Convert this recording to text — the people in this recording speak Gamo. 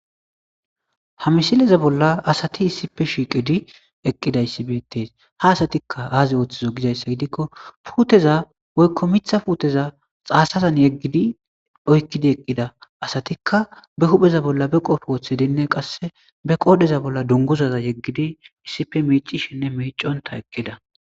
Ha misileza bolla asathi issippe shiiqidi eqqidaysi beeththees; ha asathikka aazee woththidoy gizayssa gidikko puutheza woykko miththa puutheza tsaasazan yeggidi oykkidi eqqida asathikka ba huuphe bolla ba qophe woththidinne qassi be qooreza bolla dunguza yeggidi issippe miiccishenne miicconththa eqqida.